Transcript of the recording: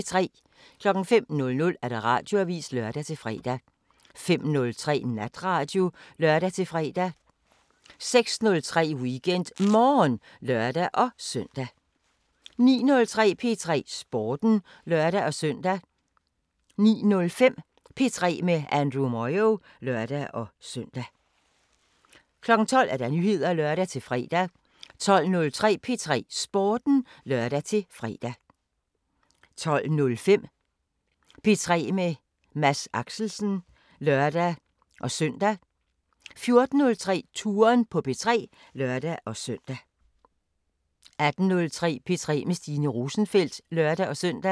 05:00: Radioavisen (lør-fre) 05:03: Natradio (lør-fre) 06:03: WeekendMorgen (lør-søn) 09:03: P3 Sporten (lør-søn) 09:05: P3 med Andrew Moyo (lør-søn) 12:00: Nyheder (lør-fre) 12:03: P3 Sporten (lør-fre) 12:05: P3 med Mads Axelsen (lør-søn) 14:03: Touren på P3 (lør-søn) 18:03: P3 med Stine Rosenfeldt (lør-søn)